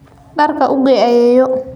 Dharka u gee ayeeyo.